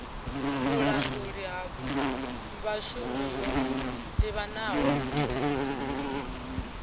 vhulanguli ha vhashumi yo livhanaho